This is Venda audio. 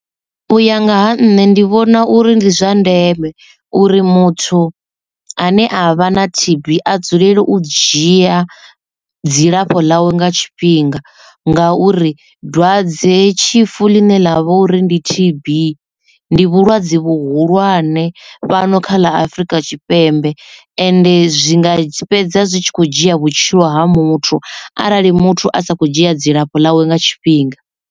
U ya nga ha nṋe ndi vhona uri ndi zwa ndeme uri muthu ane a vha na T_B a dzulele u dzhia dzilafho ḽawe nga tshifhinga nga uri dwadzetshifu ḽine ḽa vha uri ndi T_B ndi vhulwadze vhuhulwane fhano kha ḽa Afrika TTshipembe ende zwinga fhedza zwi tshi kho dzhia vhutshilo ha muthu arali muthu a sa kho dzhia dzilafho ḽawe nga tshifhinga.